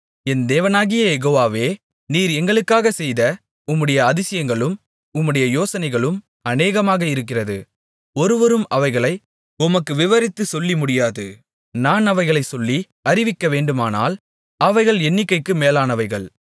என் தேவனாகிய யெகோவாவே நீர் எங்களுக்காக செய்த உம்முடைய அதிசயங்களும் உம்முடைய யோசனைகளும் அநேகமாக இருக்கிறது ஒருவரும் அவைகளை உமக்கு விவரித்துச் சொல்லி முடியாது நான் அவைகளைச் சொல்லி அறிவிக்கவேண்டுமானால் அவைகள் எண்ணிக்கைக்கு மேலானவைகள்